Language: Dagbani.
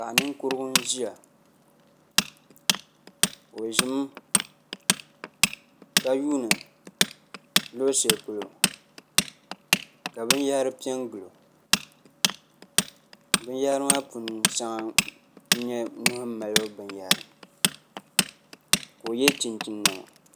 Paɣa ninkurugu n ʒiya o ʒimi ka yuundi luɣu shɛli polo ka binyahari piɛ n gilo binyahari maa puuni shɛŋa n nyɛ nuhu malibu binyɛra ka o yɛ chinchin niɛma